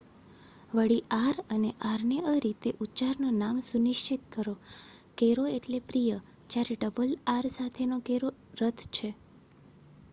વળી આર અને આર્નેઅ રીતે ઉચ્ચારનું નામ સુનિશ્ચિત કરો કેરો એટલે પ્રિય જ્યારે ડબલ આર સાથેનો કેરો રથ છે